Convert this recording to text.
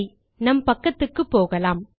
சரி நம் பக்கத்துக்குப்போகலாம்